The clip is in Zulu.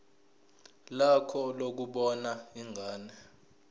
lakho lokubona ingane